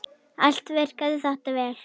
Allt virkaði þetta vel.